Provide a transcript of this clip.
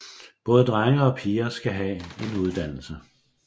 Både drenge og piger skal have en uddannelse